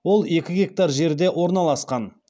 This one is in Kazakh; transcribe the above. ол екі гектар жерде орналасқан